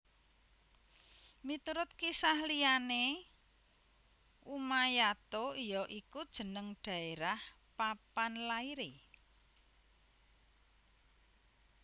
Miturut kisah liyane Umayato ya iku jeneng daerah papan laire